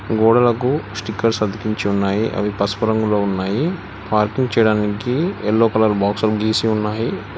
గోడలకు స్టికెర్స్ అతికించి ఉన్నాయి అవి పసుపు రంగులో ఉన్నాయి పార్కింగ్ చేయడానికి ఎల్లో కలర్ బాక్సులు గీసి ఉన్నాయి.